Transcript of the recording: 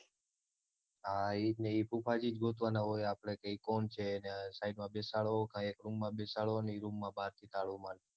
હા ઈ જ ને એ ફૂફાજી જ ગોતાવાના હોય આપણે એ કોણ છે અને સાઈડમાં બેસાડો કા એક room માં બેસાડો અને એક room માં બારથી તાળું મારી